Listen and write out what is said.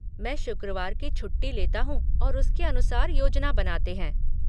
मैं शुक्रवार की छुट्टी लेता हूँ और उसके अनुसार योजना बनाते हैं।